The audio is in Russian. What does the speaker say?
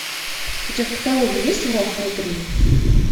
у тебя в каталоге есть враг внутри